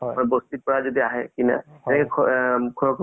tripple r তো টো movies টো বহুত ভাল লাগিলে চাই কিনে